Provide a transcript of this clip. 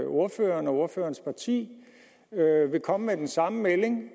ordføreren og ordførerens parti vil komme med den samme melding